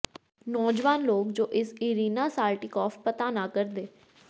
ਨੌਜਵਾਨ ਲੋਕ ਜੋ ਇਸ ਇਰੀਨਾ ਸਾਲਟੀਕੌਫ ਪਤਾ ਨਾ ਕਰਦੇ